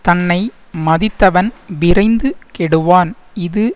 தன்னை மதித்தவன் விரைந்து கெடுவான் இது